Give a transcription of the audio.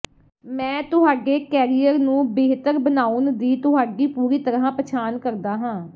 ਮੈਂ ਤੁਹਾਡੇ ਕੈਰੀਅਰ ਨੂੰ ਬਿਹਤਰ ਬਣਾਉਣ ਦੀ ਤੁਹਾਡੀ ਪੂਰੀ ਤਰ੍ਹਾਂ ਪਛਾਣ ਕਰਦਾ ਹਾਂ